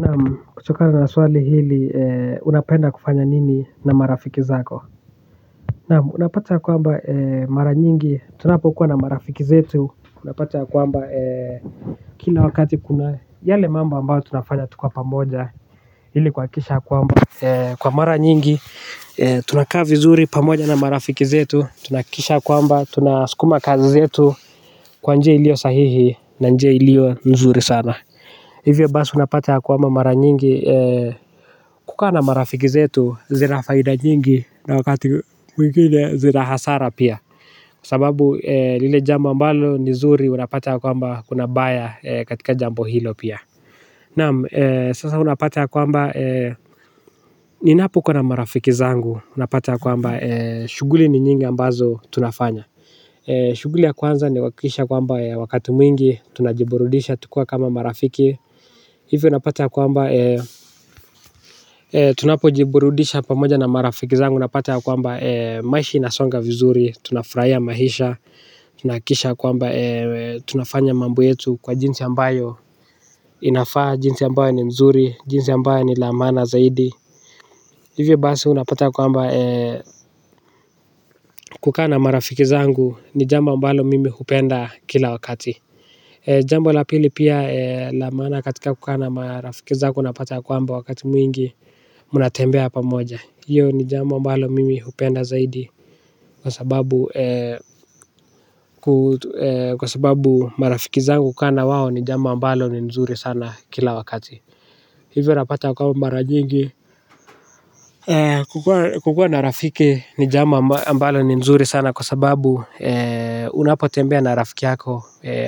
Naam kutokana na swali hili, unapenda kufanya nini na marafiki zako? Naam unapata ya kwamba mara nyingi tunapokuwa na marafiki zetu unapata ya kwamba kuna wakati kuna yale mambo ambayo tunafanya tukiwa pamoja ili kuhakikisha ya kwamba kwa mara nyingi tunakaa vizuri pamoja na marafiki zetu, tunahakikisha ya kwamba tunasukuma kazi zetu kwa njio iliyo sahihi na nje iliyo nzuri sana. Hivyo basi unapata ya kwamba mara nyingi kukaa marafiki zetu zina faida nyingi na wakati mwingine zina hasara pia. Sababu lile jambo ambalo ni zuri unapata ya kwamba kuna baya katika jambo hilo pia. Naam sasa unapata ya kwamba ninapo kuwa na marafiki zangu unapata ya kwamba, shughuli ni nyingi ambazo tunafanya. Shughuli ya kwanza ni kuhakikisha kwamba, wakati mwingi tunajiburudisha tukiwa kama marafiki. Hivyo unapata ya kwamba tunapojiburudisha pamoja na marafiki zangu unapata ya kwamba maisha inasonga vizuri, tunafurahia maisha, tunahakikisha ya kwamba tunafanya mambo yetu kwa jinsi ambayo inafaa, jinsi ambayo ni mzuri, jinsi ambayo ni la maana zaidi. Hivyo basi unapata ya kwamba kukaa na marafiki zangu ni jambo ambalo mimi hupenda kila wakati. Jambo la pili pia la maana katika kukaa na marafiki zako unapata ya kwamba wakati mwingi mnatembea pamoja. Hiyo ni jambo ambalo mimi hupenda zaidi kwasababu kwa sababu marafiki zangu kukaa na wao ni jambo ambalo ni mzuri sana kila wakati. Hivyo unapata ya kwamba mara nyingi kukua na rafiki ni jambo ambalo ni nzuri sana. Kwa sababu unapotembea na rafiki yako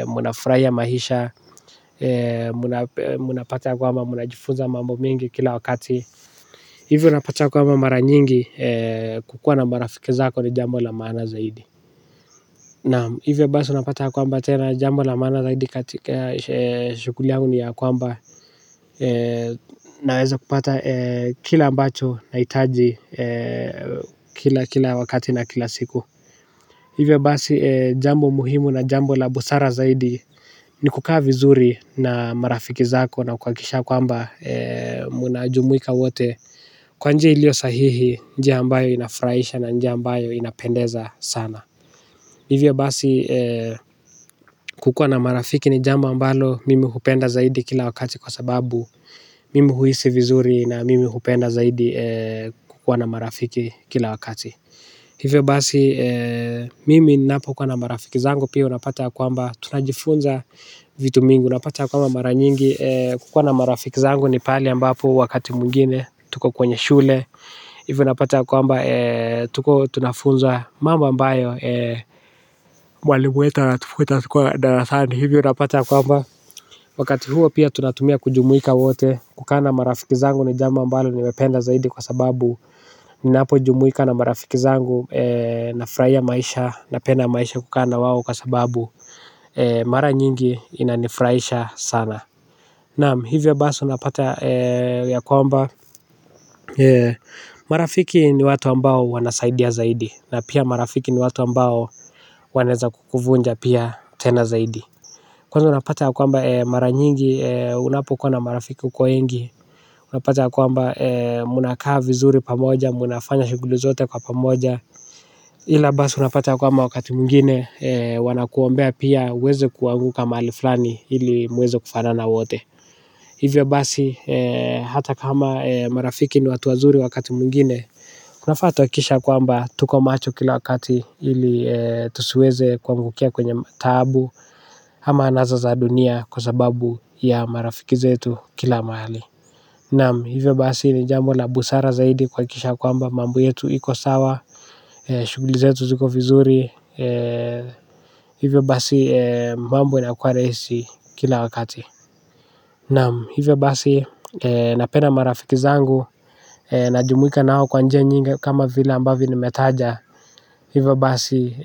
mnafurahia maisha. Mnapata ya kwamba mnajifunza mambo mengi kila wakati. Hivyo unapata ya kwamba mara nyingi kukua na marafiki zako ni jambo la maana zaidi. Naam, hivyo basi unapata ya kwamba tena jambo la maana zaidi katika shughuli yangu ni ya kwamba naweza kupata kile ambacho nahitaji. Kila kila wakati na kila siku. Hivyo basi jambo muhimu na jambo la busara zaidi ni kukaa vizuri na marafiki zako na kuhakikisha ya kwamba mnajumuika wote kwa njia iliyo sahihi, njia ambayo inafurahisha na njia ambayo inapendeza sana. Hivyo basi kukuwa na marafiki ni jambo ambalo mimi hupenda zaidi kila wakati kwa sababu mimi huhisi vizuri na mimi hupenda zaidi kukuwa na marafiki kila wakati. Hivyo basi mimi ninapo kuwa na marafiki zangu pia unapata ya kwamba tunajifunza vitu mingi. Unapata ya kwamba mara nyingi kuwa na marafiki zangu ni pale ambapo wakati mwingine tuko kwenye shule. Hivyo unapata ya kwamba tuko tunafunzwa mambo ambayo mwalimu wetu anatufunza tukiwa darasani, hivyo unapata ya kwamba, wakati huo pia tunatumia kujumuika wote. Kukaa na marafiki zangu ni jambo amabalo nimependa zaidi kwasababu ninapojumuika na marafiki zangu nafurahia maisha, napenda maisha kukaa na wao kwa sababu mara nyingi inanifurahisha sana. Naam, hivyo basi unapata ya kwamba marafiki ni watu ambao wanasaidia zaidi. Na pia marafiki ni watu ambao wanaweza kukuvunja pia tena zaidi. Kwanza unapata ya kwamba mara nyingi unapokuwa na marafiki kwa wingi unapata ya kwamba mnakaa vizuri pamoja, mnafanya shughuli zote kwa pamoja. Ila basi unapata ya kwamba wakati mwingine wanakuombea pia uweze kuanguka mahali fulani ili muweze kufanana wote. Hivyo basi hata kama marafiki ni watu wazuri wakati mwingine tunafaa tuhakikishe ya kwamba tuko macho kila wakati ili tusiweze kuangukia kwenye taabu. Ama anasa za dunia kwa sababu ya marafiki zetu kila mahali. Naam, hivyo basi ni jambo la busara zaidi kuhakikisha ya kwamba mambo yetu iko sawa. Shughuli zetu ziko vizuri, hivyo basi mambo inakuwa rahisi kila wakati. Naam, hivyo basi napenda marafiki zangu. Najumuika nao kwa njia nyingi kama vile ambavyo nimetaja. Hivyo basi,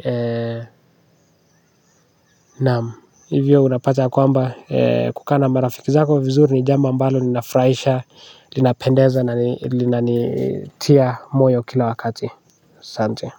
naam, hivyo unapata ya kwamba kukaa na marafiki zako vizuri ni jambo ambalo linafurahisha, linapendeza. Inanitia moyo kila wakati. Asante.